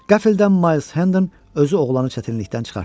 Qəfildən Mayls Hendən özü oğlanı çətinlikdən çıxartdı.